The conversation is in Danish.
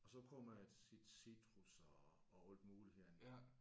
Og så prøver man at sige citrus og og alt muligt andet